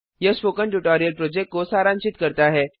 यह spoken tutorial project को सारांशित करता है